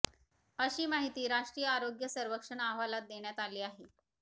अशी माहिती राष्ट्रीय आरोग्य सर्वेक्षण अहवालात देण्यात आली आहे